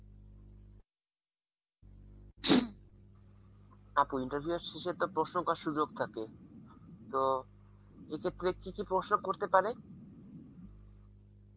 আপু interview এর শেষে তো প্রশ্ন করার সুযোগ থাকে তো এ ক্ষেত্রে কি কি প্রশ্ন করতে পারে?